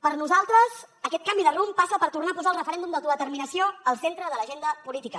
per nosaltres aquest canvi de rumb passa per tornar a posar el referèndum d’autodeterminació al centre de l’agenda política